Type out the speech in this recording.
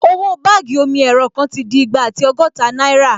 Owó báàgì omi-ẹ̀rọ kan ti di igba àti ọgọ́ta náírà